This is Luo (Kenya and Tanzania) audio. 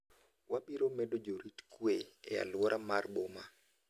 Wabiro medo jorit kwe e aluora mar boma."